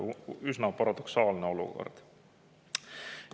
Üsna paradoksaalne olukord.